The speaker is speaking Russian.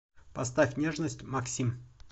поставь нежность максим